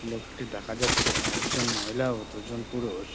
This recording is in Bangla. লোকটি দেখা যাচ্ছে একজন মহিলা ও দুজন পুরুষ--